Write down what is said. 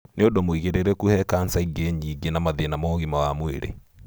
Nĩ ũndũ mũigĩrĩrĩku he cancer ĩngĩ nyingĩ na mathĩna ma ũgima wa mwĩrĩ.